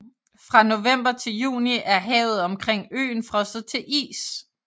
Fra november til juni er havet omkring øen frosset til is